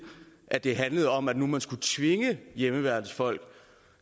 at det handlede om at man nu skulle tvinge hjemmeværnsfolk